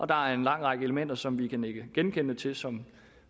der er en lang række elementer som vi kan nikke genkendende til som